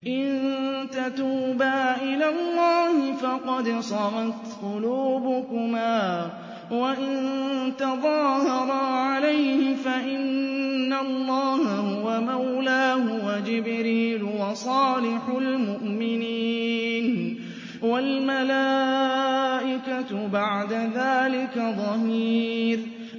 إِن تَتُوبَا إِلَى اللَّهِ فَقَدْ صَغَتْ قُلُوبُكُمَا ۖ وَإِن تَظَاهَرَا عَلَيْهِ فَإِنَّ اللَّهَ هُوَ مَوْلَاهُ وَجِبْرِيلُ وَصَالِحُ الْمُؤْمِنِينَ ۖ وَالْمَلَائِكَةُ بَعْدَ ذَٰلِكَ ظَهِيرٌ